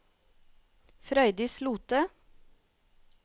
Frøydis Lothe